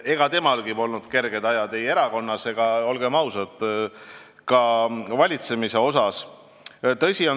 Ega temalgi polnud kerged ajad ei erakonnas ega, olgem ausad, ka valitsemisel.